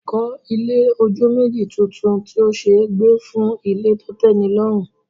Kọ́ ilé ojú méjì tuntun tí ó ṣe é gbé fún ilé tó tẹ́nilọ́rùn